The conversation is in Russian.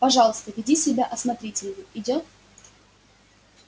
пожалуйста веди себя осмотрительнее идёт